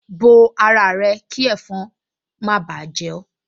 Bo ara rẹ kí ẹ̀fọn má báà jẹ ẹ́